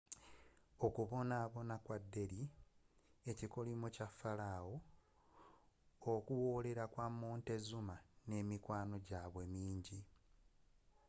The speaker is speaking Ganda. okubonaabona kwa delhi ekikolimo kya falaawo okuwoolera kwa montezuma n'emikwano gyabwe mingi